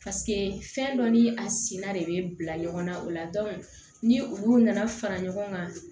fɛn dɔ ni a sina de be bila ɲɔgɔn na o la ni olu nana fara ɲɔgɔn kan